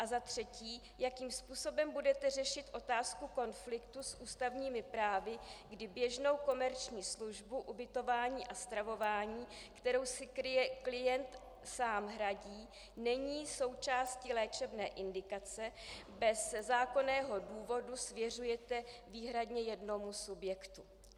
A za třetí, jakým způsobem budete řešit otázku konfliktu s ústavními právy, kdy běžnou komerční službu, ubytování a stravování, kterou si klient sám hradí, není součástí léčebné indikace, bez zákonného důvodu svěřujete výhradně jednomu subjektu.